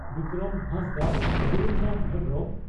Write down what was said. Bikram Hansdak Brunda Hembrom